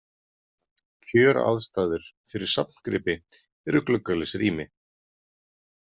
Kjöraðstæður fyrir safngripi eru gluggalaus rými.